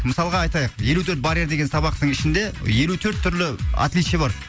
мысалға айтайық елу төрт барьер деген сабақтың ішінде елу төрт түрлі отличие бар